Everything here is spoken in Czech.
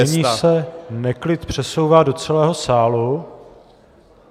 Tak, a nyní se neklid přesouvá do celého sálu.